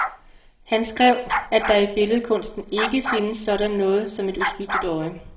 Han skrev, at der i billedkunsten ikke findes sådan noget som et uskyldigt øje.